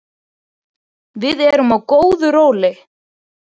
Við erum á góðu róli